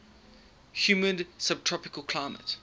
humid subtropical climate